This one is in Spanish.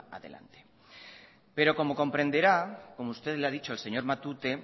adelante pero como comprenderá como usted le ha dicho al señor matute